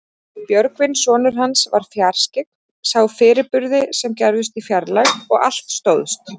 Björgvin sonur hans var fjarskyggn, sá fyrirburði sem gerðust í fjarlægð og allt stóðst.